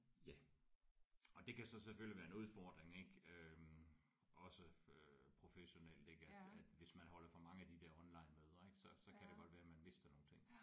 Ja og det kan så selvfølgelig være en udfordring ik øh også øh professionelt ik at at hvis man holder for mange af de der onlinemøder ik så så kan det godt være man mister nogle ting